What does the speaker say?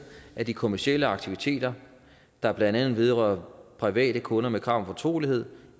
at de kommercielle aktiviteter der blandt andet vedrører private kunder med krav om fortrolighed